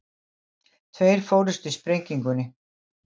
Tveir fórust í sprengingunni